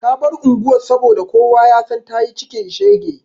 Ta bar unguwar saboda kowa ya san ta yi cikin shege.